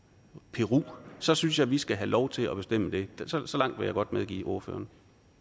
peru så synes jeg vi skal have lov til at bestemme det så langt vil jeg godt medgive ordføreren